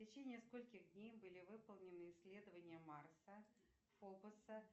в течение скольких дней были выполнены исследования марса фобоса